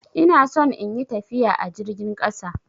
Ina son in yi tafiya a jirgin ƙasa.